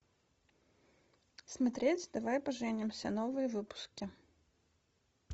смотреть давай поженимся новые выпуски